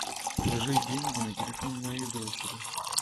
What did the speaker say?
положи деньги на телефон моей дочери